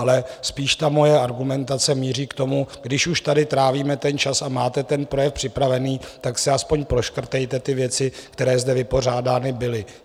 Ale spíše ta moje argumentace míří k tomu, když už tady trávíme ten čas a máte ten projev připravený, tak si aspoň proškrtejte ty věci, které zde vypořádány byly.